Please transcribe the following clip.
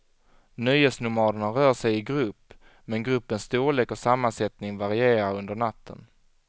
Nöjesnomaderna rör sig i grupp, men gruppens storlek och sammansättning varierar under natten.